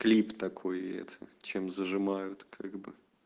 клип такой и это чем зажимают как бы